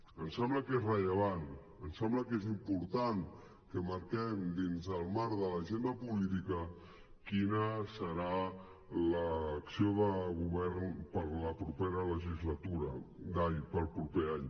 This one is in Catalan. ens sembla que és rellevant ens sembla que és important que marquem dins el marc de l’agenda política quina serà l’acció de govern per al proper any